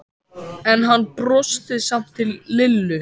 En hann brosti samt til Lillu.